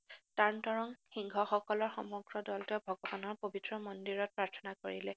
তানতৰংগ সিংহসকলৰ সমগ্ৰ দলটোৱে ভক্তস্থানৰ পৱিত্ৰ মন্দিৰত প্ৰাৰ্থনা কৰিলে